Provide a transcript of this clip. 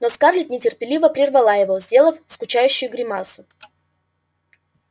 но скарлетт нетерпеливо прервала его сделав скучающую гримасу